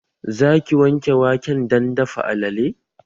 Za ki wanke waken dan dafa alale?